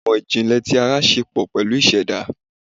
Ìmò ìjìnlẹ̀ tí ara ṣe pọ̀ pẹ̀lú ìṣẹ̀dá.